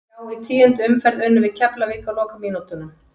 Já í tíundu umferð unnum við Keflavík á lokamínútunum.